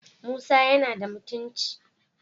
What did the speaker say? Musa yana da mutunci